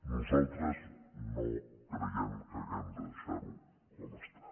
nosaltres no creiem que hàgim de deixar ho com està